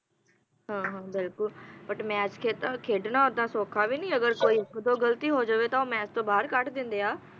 ਹਾਂ ਹਾਂ ਬਿਲਕੁਲ but ਮੈਚ ਖੇਡਣਾ ਓਦਾਂ ਸੌਖਾ ਵੀ ਨਹੀਂ ਹੈਗਾ ਕੋਈ ਗਲਤੀ ਹੋ ਜਾਵੇ ਤਾਂ ਉਹ ਮੈਚ ਵਿਚੋਂ ਬਾਹਰ ਕੱਢ ਦਿੰਦੇ